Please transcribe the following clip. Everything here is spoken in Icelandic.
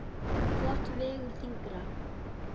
Hvort vegur þyngra?